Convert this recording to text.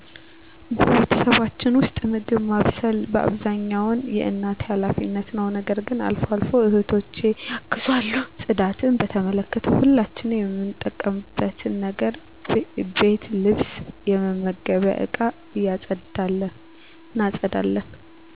በቤተሰባችን ውስጥ፣ ምግብ ማብሰል በአብዛኛው የእናቴ ኃላፊነት ነው። ነገር ግን አልፎ አልፎ እህቶቸ ያግዟል። ጽዳትን በተመለከተ፣ ሁላችንም የምንጠቀምበትን ነገር ቤት ልብስ የመመገቢያ እቃ እናፀዳለን።